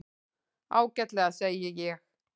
Ágætlega, segi ég.